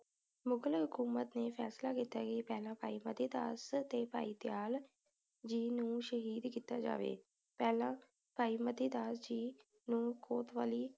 ਮੁਗ਼ਲ ਹਕੂਮਤ ਨੇ ਫੈਸਲਾ ਕੀਤਾ ਕੇ ਪਹਿਲਾ ਭਾਈ ਮਤੀ ਦਾਸ ਤੇ ਭਾਈ ਦਯਾਲ ਜੀ ਨੂੰ ਸ਼ਹੀਦ ਕੀਤਾ ਜਾਵੇ ਪਹਿਲਾ ਭਾਈ ਮਤੀ ਦਾਸ ਜੀ ਨੂੰ ਕੋਤਵਾਲੀ